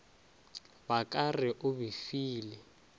ba ka re o befile